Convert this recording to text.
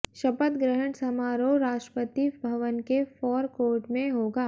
शपथ ग्रहण समारोह राष्ट्रपति भवन के फोर कोर्ट में होगा